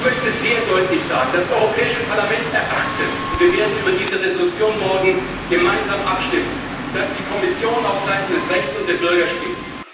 Ich möchte sehr deutlich sagen Das Europäische Parlament erwartet und wir werden über diese Entschließung morgen gemeinsam abstimmen dass die Kommission aufseiten des Rechts und der Bürger steht.